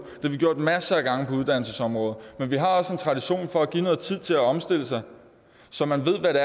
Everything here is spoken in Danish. har vi gjort masser af gange på uddannelsesområdet men vi har også en tradition for at give noget tid til at omstille sig så man ved hvad det